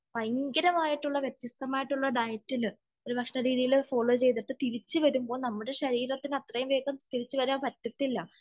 ഭയങ്കരമായിട്ടുള്ള വ്യത്യസ്തമായിട്ടുള്ള ഡയറ്റിനു ഭക്ഷണ രീതിയെല്ലാം ഫോളോ ചെയ്തിട്ട് തിരിച്ചുവരുമ്പോൾ നമ്മളെ ശരീരത്തിന് അത്രയും വേഗം തിരിച്ചു വരാൻ പറ്റത്തില്ല